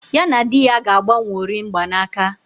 Ya na di ya ga-agbanworị mgbanaka